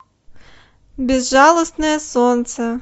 безжалостное солнце